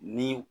Ni